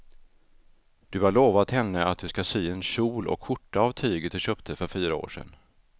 Du har lovat henne att du ska sy en kjol och skjorta av tyget du köpte för fyra år sedan.